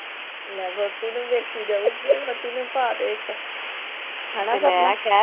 ਲੈ ਵੋਹਟੀ ਨੂੰ ਵੀ ਵੇਖੀ ਜਾਉਗੀ ਵੋਹਟੀ ਨੂੰ ਵੀ ਪਾ ਦਿਓ ਇੱਕ